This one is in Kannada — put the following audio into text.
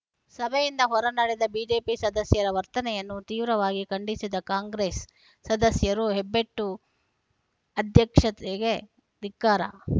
ಸಭೆಯಿಂದ ಹೊರನಡೆದ ಬಿಜೆಪಿ ಸದಸ್ಯರ ವರ್ತನೆಯನ್ನು ತೀವ್ರವಾಗಿ ಖಂಡಿಸಿದ ಕಾಂಗ್ರೆಸ್‌ ಸದಸ್ಯರು ಹೆಬ್ಬೆಟ್ಟು ಅಧ್ಯಕ್ಷೆತೆಗೆ ಧಿಕ್ಕಾರ